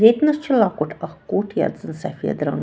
.ییٚتنس چُھ لۄکُٹ اکھ کُٹھ یتھ زن سفیدرنٛگ